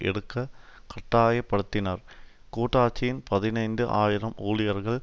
எடுக்க கட்டாய படுத்தினர் கூட்டாட்சியின் பதினைந்து ஆயிரம் ஊழியர்கள்